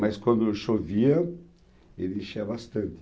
Mas quando chovia, ele enchia bastante.